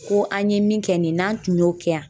ko an ye min kɛ nin n'an tun y'o kɛ yan